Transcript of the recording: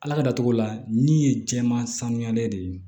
Ala ka datugula min ye jɛman sanuyalen de ye